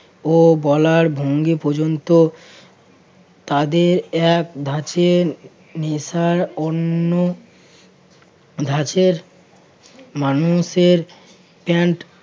ও বলার ভঙ্গি পর্যন্ত তাদের এক ধাঁচে নেশার অন্য ধাঁচের মানুষের প্যান্ট